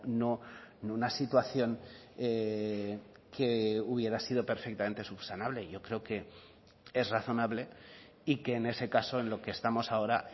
no una situación que hubiera sido perfectamente subsanable yo creo que es razonable y que en ese caso en lo que estamos ahora